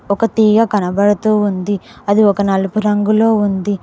ఒక తీగ కనబడుతూ ఉంది అది ఒక నలుపు రంగులో ఉంది.